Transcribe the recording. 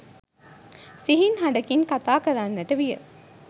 සිහින් හඬකින් කථා කරන්නට විය